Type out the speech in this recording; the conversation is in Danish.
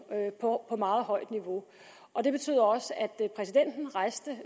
på meget højt niveau og det betyder også at præsidenten rejste